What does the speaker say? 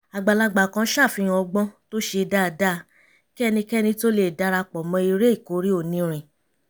àgbàlagbà kan ṣàfihàn ọgbọ́n tó ṣe dáadáa kí ẹnikẹ́ni tó lè dara pọ̀ mọ́ eré ìkórè onírin